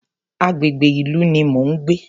Agbègbè ìlú ní mo ń gbé.